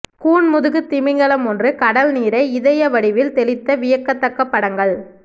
கூன்முதுகு திமிங்கலம் ஒன்று கடல் நீரை இதய வடிவில் தெளித்த வியக்கத்தக்க படங்கள்